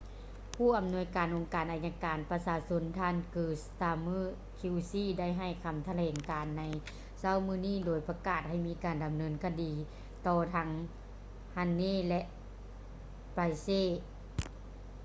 ຜູ້ອຳນວຍການອົງການໄອຍະການປະຊາຊົນ ທ່ານ kier starmer qc ໄດ້ໃຫ້ຄຳຖະແຫຼງການໃນເຊົ້າມື້ນີ້ໂດຍປະກາດໃຫ້ມີການດຳເນີນຄະດີຕໍ່ທັງ huhne ແລະ pryce